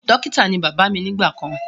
Dókítà ní bàbá mí nígbà kàn